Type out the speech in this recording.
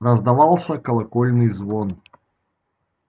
раздавался колокольный звон